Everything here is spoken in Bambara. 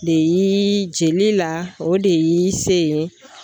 De yiii jeli la o de y'i se ye.